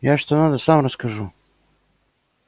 я что надо сам расскажу